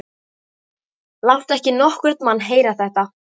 Láttu ekki nokkurn mann heyra þetta!